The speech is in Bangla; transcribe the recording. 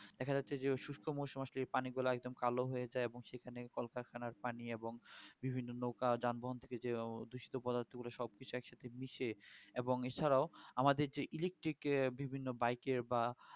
দেখা যাচ্ছে যে সুস্থ মরশুম আসলে পানিগুলা একদম কালো হয়ে যায় এবং সেখানে কলকারখানার পানি এবং বিভিন্ন নৌকা যানবাহন থেকে যে দূষিত পদার্থ গুলো সব কিছু একসাথে মিশে এবং এছাড়াও আমাদের যে electric এ বিভিন্ন bike এ বা